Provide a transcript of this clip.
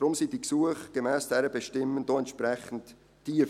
Deshalb sind die Gesuchszahlen gemäss dieser Bestimmung entsprechend tief.